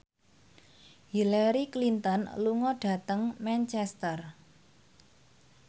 Hillary Clinton lunga dhateng Manchester